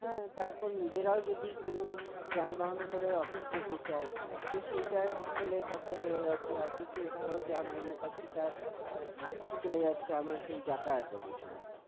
হ্যাঁ তারপর নিজেরাও যদি কোন যানবাহনে করে office যেতে চাই তো সেইটার তেলের খরচা বেড়ে গেছে office এ ধরো যা মাইনে পাচ্ছি তার অর্ধেক চলে যাচ্ছে আমার সেই যাতায়াত এর পিছনে